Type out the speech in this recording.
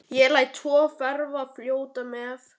Ég læt tvö þeirra fljóta með.